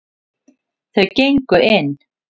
Þau gengu inn.